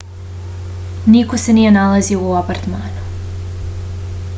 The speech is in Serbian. niko se nije nalazio u apartmanu